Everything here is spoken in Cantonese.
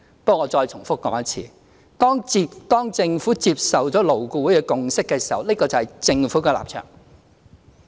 不過，我再重複說一次，當政府接受了勞顧會的共識時，那共識就是政府的立場。